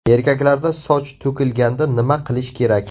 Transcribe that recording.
Erkaklarda soch to‘kilganda nima qilish kerak?